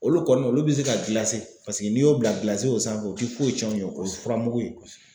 Olu kɔni olu bɛ se ka paseke n'i y'o bila gilasi o sanfɛ o ti foyi cɛn o ye k'o s fura mugu in